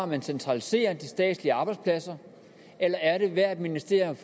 man centraliserer de statslige arbejdspladser eller agerer ministerierne